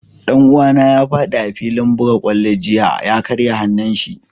Dan uwa na ya fadi a'filin bugan kwallo jiya, ka karya hanun shi.